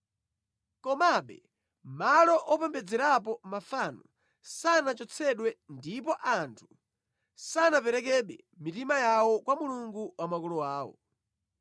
Komabe malo opembedzerapo mafano sanachotsedwe ndipo anthu sanaperekebe mitima yawo kwa Mulungu wa makolo awo.